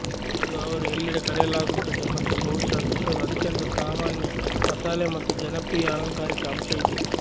ಇಂದು ಅವರು ಎಲ್ಲೆಡೆ ಕರೆಯಲಾಗುತ್ತದೆ ಮತ್ತು ಬಹುಶಃ ವಿಶ್ವದ ಅತ್ಯಂತ ಸಾಮಾನ್ಯ ಮಸಾಲೆ ಮತ್ತು ಜನಪ್ರಿಯ ಅಲಂಕಾರಿಕ ಅಂಶ ಇದೆ